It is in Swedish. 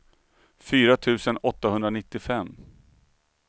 fyra tusen åttahundranittiofem